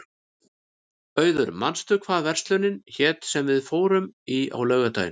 Auður, manstu hvað verslunin hét sem við fórum í á laugardaginn?